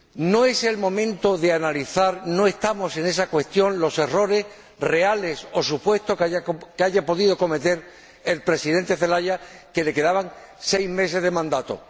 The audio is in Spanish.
No es el momento de analizar —no estamos en esa cuestión— los errores reales o supuestos que haya podido cometer el Presidente Zelaya, al que le quedaban seis meses de mandato.